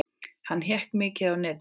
Hann hékk mikið á netinu.